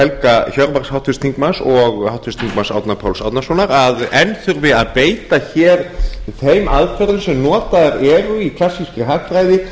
helga hjörvar háttvirts þingmanns og háttvirtum þingmanni árna páls árnasonar að enn þurfi að beita hér þeim aðferðum sem notaðar í klassískri hagfræði